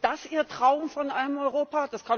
Ist das Ihr Traum von einem Europa?